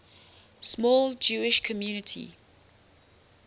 small jewish community